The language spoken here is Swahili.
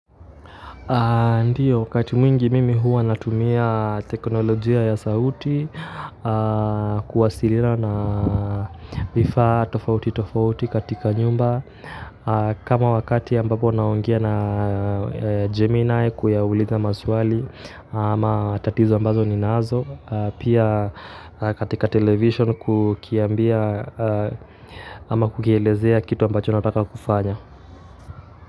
Ndiyo, wakati mwingi mimi huwa natumia teknolojia ya sauti, kuwasiliana na vifaa tofauti tofauti katika nyumba, kama wakati ambapo naongea na Gemini kuyaulitha maswali ama tatizo ambazo ninazo, pia katika television kukiambia ama kukielezea kitu ambacho nataka kufanya.